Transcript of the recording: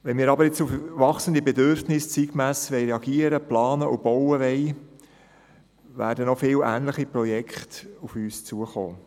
Wenn wir jedoch auf wachsende Bedürfnisse zeitgemäss reagieren und entsprechend planen und bauen wollen, werden noch viele ähnliche Projekte auf uns zukommen.